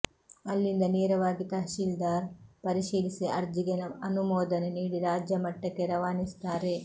ಅಲ್ಲಿಂದ ನೇರವಾಗಿ ತಹಶೀಲ್ದಾರ್ ಪರಿಶೀಲಿಸಿ ಅರ್ಜಿಗೆ ಅನುಮೋದನೆ ನೀಡಿ ರಾಜ್ಯ ಮಟ್ಟಕ್ಕೆ ರವಾನಿಸುತ್ತಾರೆ